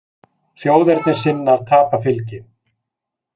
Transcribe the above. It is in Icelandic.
Þjóðernissinnar tapa fylgi